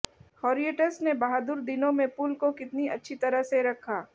हॉरियटस ने बहादुर दिनों में पुल को कितनी अच्छी तरह से रखा